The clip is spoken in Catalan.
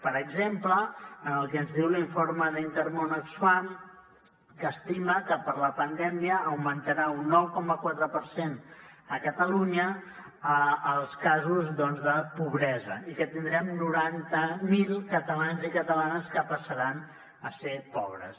per exemple en el que ens diu l’informe d’intermón oxfam que estima que per la pandèmia augmentaran un nou coma quatre per cent a catalunya els casos doncs de pobresa i que tindrem noranta mil catalans i catalanes que passaran a ser pobres